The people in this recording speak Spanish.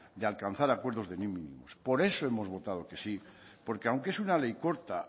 de alcanzar acuerdos de mínimos por eso hemos votado que sí porque aunque es una ley corta